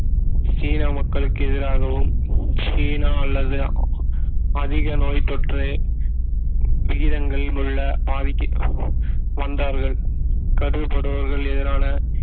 சீன மக்களுக்கு எதிராகவும் சீனா அல்லது அதிக நோய் தொற்று விகிதங்களில் உள்ள வந்தார்கள் கருதப்படுபவர்கள் எதிரான